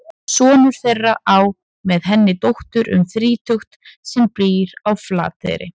Sonur þeirra á með henni dóttur um þrítugt sem býr á Flateyri.